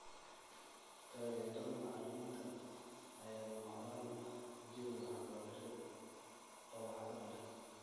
Taageerada macalimiinta ayaa lama huraan u ah jawi waxbarasho oo waxtar leh.